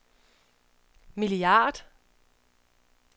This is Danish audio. milliard